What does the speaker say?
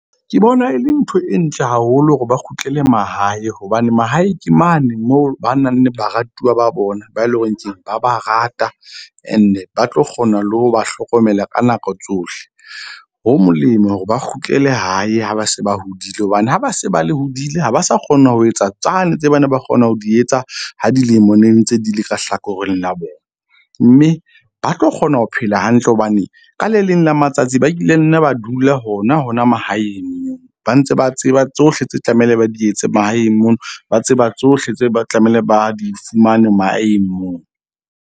Ke bona e le ntho e ntle haholo hore ba kgutlele mahae. Hobane mahae ke mane moo ba nang le baratuwa ba bona, ba e leng hore keng ba ba rata and-e ba tlo kgona le ho ba hlokomela ka nako tsohle. Ho molemo hore ba kgutlele hae ha ba se ba hodile. Hobane ha ba se ba le hodile ha ba sa kgona ho etsa tsane tse ba ne ba kgona ho di etsa. Ha dilemo ne ntse di le ka hlakoreng la bona. Mme ba tlo kgona ho phela hantle hobane ka le leng la matsatsi ba kile nne ba dula hona hona mahaeng. Ba ntse ba tseba tsohle tse tlamehile ba di etse mahaeng mono, ba tseba tsohle tse ba tlamehile ba di fumane mahaeng moo.